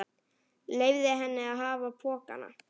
Leyfði henni að hafa pokann.